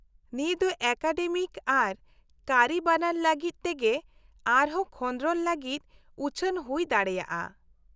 - ᱱᱤᱭᱟᱹ ᱫᱚ ᱮᱠᱟᱰᱮᱢᱤᱠ ᱟᱨ ᱠᱟᱹᱨᱤ ᱵᱟᱱᱟᱨ ᱞᱟᱹᱜᱤᱫ ᱛᱮᱜᱮ ᱟᱨᱦᱚᱸ ᱠᱷᱚᱸᱫᱨᱚᱱ ᱞᱟᱹᱜᱤᱫ ᱩᱪᱷᱟᱹᱱ ᱦᱩᱭ ᱫᱟᱲᱮᱭᱟᱜᱼᱟ ᱾